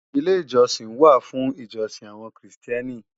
Ilé ìjọsìn wà fún ìjọsìn àwọn Krìstẹ́nì